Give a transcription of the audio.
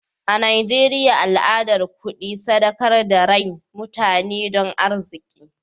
A Najeriya al'adar kudi sadakar da rain mutane don arziki.